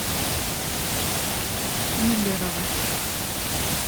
миллерово